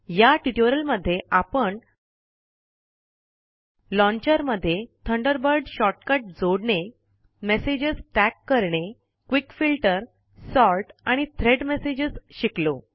या ट्यूटोरियल मध्ये आपण लॉन्चर मध्ये थंडरबर्ड शोर्ट कट जोडणे मेसेज टैग करणे क्विक फिल्टर सॉर्ट आणि थ्रेड मेसेज शिकलो